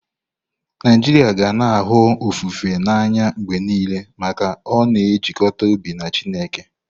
Naijiria ga na-ahụ ofufe n'anya mgbe niile maka ọ na-ejikọta obi na Chineke.